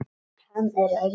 Hann er lítill.